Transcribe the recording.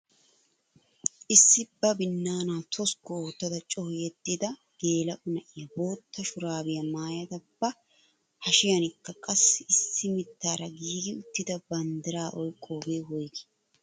Issi ba binaanaa toskku oottada coo yedida geela'o na'iyaa bootta shuraabiyaa maayada ba hashiyaanikka qassi issi mittaara giigi uttida banddiraa oyqqoogee woygii?